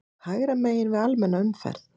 hægra megin við almenna umferð.